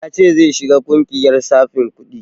Ya ce zai shiga ƙungiyar tsafin kuɗi